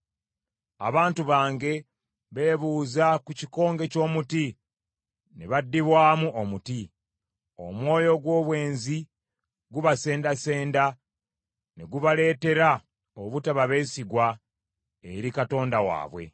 Abantu bange beebuuza ku kikonge ky’omuti, ne baddibwamu omuti. Omwoyo ogw’obwenzi gubasendasenda ne gubaleetera obutaba beesigwa eri Katonda waabwe.